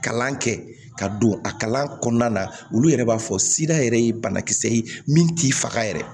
Kalan kɛ ka don a kalan na olu yɛrɛ b'a fɔ yɛrɛ ye banakisɛ ye min t'i faga yɛrɛ